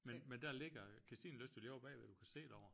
Men men der ligger Kirstinelyst jo lige ovre bagved du kan se derover